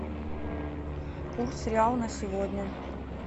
курс реала на сегодня